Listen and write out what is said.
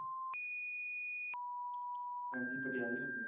ਹਾਂਜੀ ਪਟਿਆਲੇ ਹੁੰਦੇ ਹਾਂ